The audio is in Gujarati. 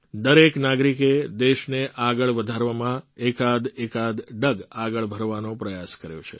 દરેક નાગરિકે દેશને આગળ વધારવામાં એકાદએકાદ ડગ આગળ ભરવાનો પ્રયાસ કર્યો છે